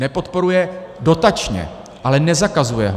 Nepodporuje dotačně, ale nezakazuje ho.